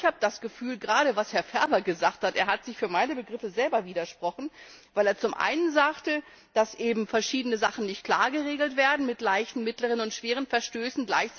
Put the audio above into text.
Aber ich habe das Gefühl, gerade bei dem, was Herr Ferber gesagt hat, er hat sich für meine Begriffe selber widersprochen, weil er zum einen sagte, dass eben verschiedene Sachen nicht klar geregelt werden, mit leichten, mittleren und schweren Verstößen.